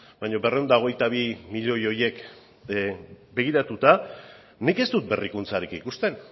baina berrehun eta hogeita bi milioi horiek begiratuta nik ez dut berrikuntzarik ikusten